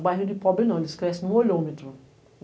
O bairro de pobre não, eles crescem no olhômetro.